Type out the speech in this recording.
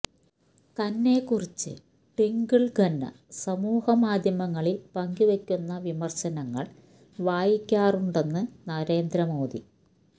തന്നെ കുറിച്ച് ട്വിങ്കള് ഖന്ന സമൂഹമാധ്യമങ്ങളില് പങ്കുവെയ്ക്കുന്ന വിമര്ശമങ്ങള് വായിക്കാറുണ്ടെന്ന് നരേന്ദ്രമോദി